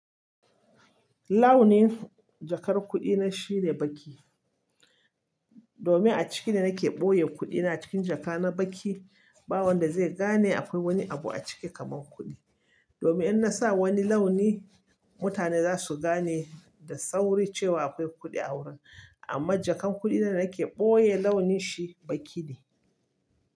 Launin jakar kuɗi na shine baƙi. Domin a ciki ne nake ɓoye kuɗi na cikin jaka na baƙi, ba wanda zai gane akwai wani abu a ciki kamar kuɗi. Domin in na sa wani launi, mutane za su gane da sauri cewa akwai kuɗi a wurin. Amma jakan kuɗi da nake ɓoye launin shi baki ne.